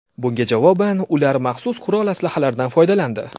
Bunga javoban ular maxsus qurol-aslahalardan foydalandi.